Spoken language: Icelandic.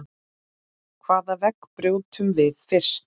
Hvaða vegg brjótum við fyrst?